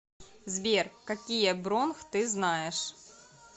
сбер какие бронх ты знаешь